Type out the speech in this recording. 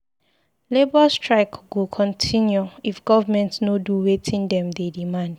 Labour strike go continue if government no do wetin dem dey demand.